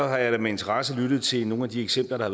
har jeg da med interesse lyttet til nogle af de eksempler der